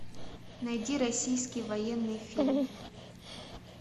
найди российский военный фильм